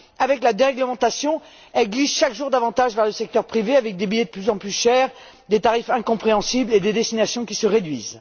Avec la déréglementation, elle glisse chaque jour davantage vers le secteur privé avec des billets de plus en plus chers, des tarifs incompréhensibles et un choix de destinations qui se réduit.